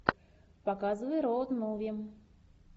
показывай роуд муви